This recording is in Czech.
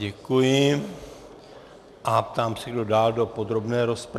Děkuji a ptám se, kdo dál do podrobné rozpravy.